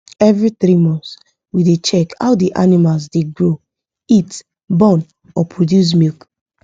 every 3months we da check how the animal da grow eat born or produce milk